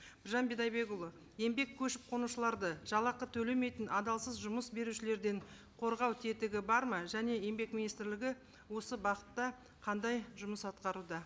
біржан бидайдекұлы еңбек көшіп қонушыларды жалақы төлемейтін адалсыз жұмыс берушілерден қорғау тетігі бар ма және еңбек министрлігі осы бағытта қандай жұмыс атқаруда